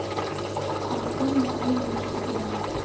открой на тв матч игра